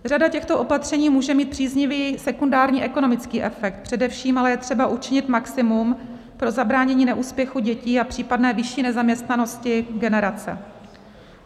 Řada těchto opatření může mít příznivý sekundární ekonomický efekt, především ale je třeba učinit maximum pro zabránění neúspěchu dětí a případné vyšší nezaměstnanosti generace.